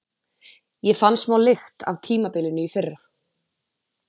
Ég fann smá lykt af tímabilinu í fyrra.